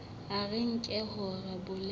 a re nke hore bolelele